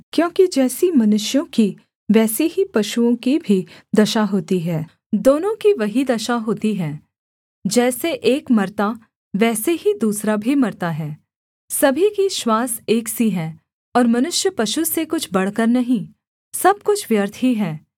क्योंकि जैसी मनुष्यों की वैसी ही पशुओं की भी दशा होती है दोनों की वही दशा होती है जैसे एक मरता वैसे ही दूसरा भी मरता है सभी की श्वास एक सी है और मनुष्य पशु से कुछ बढ़कर नहीं सब कुछ व्यर्थ ही है